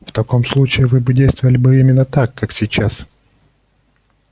в таком случае вы бы действовали бы именно так как сейчас